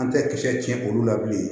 An tɛ kisɛ tiɲɛ olu la bilen